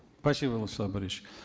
спасибо владислав борисович